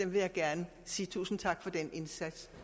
vil gerne sige tusind tak for den indsats